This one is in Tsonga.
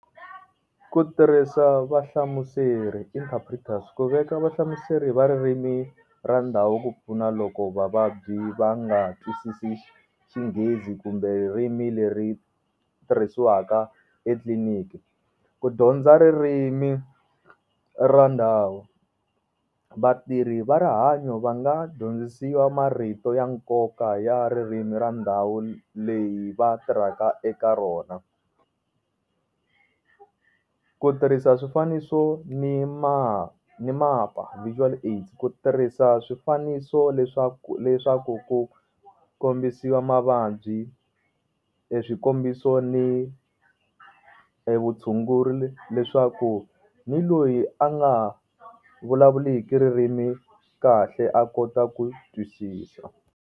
Ku tirhisa va hlamuseri interpreters ku veka va hlamuseri va ririmi ra ndhawu ku pfuna loko vavabyi va nga twisisi xinghezi kumbe ririmi leri tirhisiwaka etliliniki, ku dyondza ririmi ra ndhawu vatirhi va rihanyo va nga dyondzisiwa marito ya nkoka ya ririmi ra ndhawu leyi va tirhaka eka rona. Ku tirhisa swifaniso ni ma ni mapa virtual aids ku tirhisa swifaniso leswaku leswaku ku kombisiwa mavabyi eswikombiso ni vutshunguri leswaku ni loyi a nga ha vulavuliki ririmi kahle a kota ku twisisa.